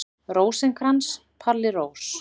Rósinkrans, Palli Rós.